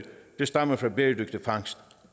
der stammer fra bæredygtig fangst